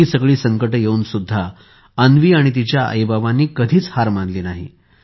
इतकी सगळी संकटे येऊन देखील अन्वीने आणि तिच्या आईबाबांनी कधीच हार मानली नाही